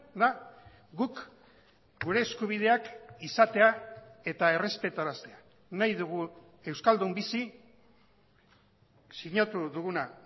da guk gure eskubideak izatea eta errespetaraztea nahi dugu euskaldun bizi sinatu duguna